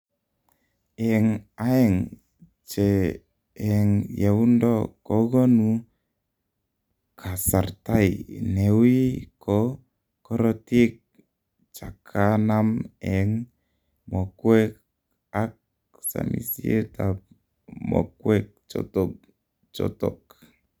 Eng aeng che eng yeundoo kokonu kasartai neuii ko korotik chakanam eng mokwek ak samisiet ab mokwek chotok.